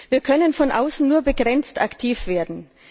Wir können von außen nur begrenzt aktiv werden.